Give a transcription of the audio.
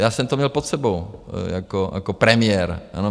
Já jsem to měl pod sebou jako premiér, ano.